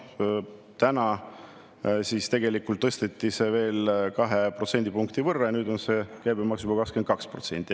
Täna tegelikult tõsteti seda veel kahe protsendipunkti võrra ja nüüd on käibemaks juba 22%.